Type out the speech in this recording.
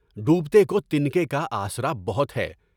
ڈوبتے کو تنکے کا آسرا بہت ہے۔